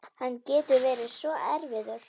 Hann getur verið svo erfiður